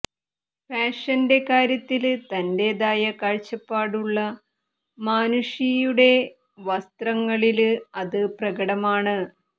ഫാഷന്റെ കാര്യത്തില് തന്റേതായ കാഴ്ചപ്പാടുളള മാനുഷിയുടെ വസ്ത്രങ്ങളില് അത് പ്രകടമാണ്